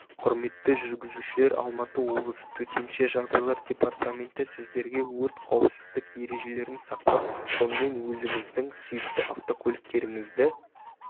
құрметті жүргізушілер алматы облысы төтенше жағдайлар департаменті сіздерге өрт қауіпсіздік ережелерін сақтап сонымен өзіңіздің сүйікті автокөліктеріңіздегі